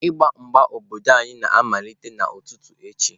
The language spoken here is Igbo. Mgba mgba obodo anyị na-amalite n'ụtụtụ echi.